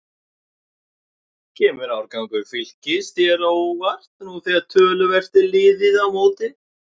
Kemur árangur Fylkis þér á óvart nú þegar töluvert er liðið á mótið?